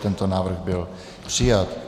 Tento návrh byl přijat.